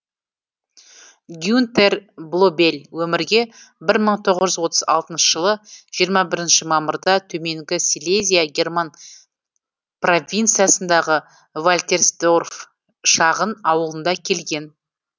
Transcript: гюнтер блобель өмірге бір мың тоғыз жүз отыз алтыншы жылы жиырма бірінші мамырда төменгі силезия герман провинциясындағы вальтерсдорф шағын ауылында келген